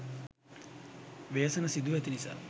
ව්‍යසන සිදුව ඇති නිසා